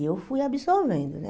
E eu fui absorvendo, né?